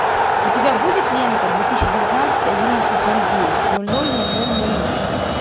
у тебя будет лента две тысячи девятнадцать одиннадцать ноль девять ноль ноль ноль ноль ноль ноль